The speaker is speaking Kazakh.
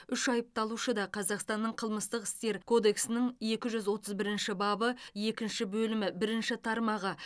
үш айыпталушы да қазақстанның қылмыстық істер кодексінің екі жүз отыз бірінші бабы екінші бөлімі бірінші тармағы